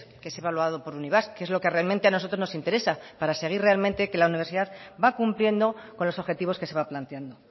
que es evaluado por unibasq que es lo que realmente a nosotros nos interesa para seguir realmente que la universidad va cumpliendo con los objetivos que se va planteando